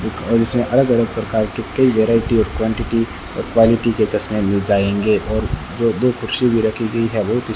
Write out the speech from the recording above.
और इसमें अलग अलग प्रकार के कई वैरायटी ऑफ़ क्वांटिटी और क्वालिटी के चश्मे मिल जाएंगे और जो दो कुर्सी भी रखी हुई है वो --